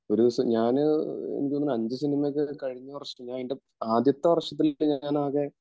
ഒരു ദിവസം ഞാന് എനിക്കി തോനുന്നു ഒരു അഞ്ച് സിനിമയൊക്കെ കഴിഞ്ഞ വര്ഷം ആദ്യത്തെ വർഷത്തിൽ ഞാൻ ആകെ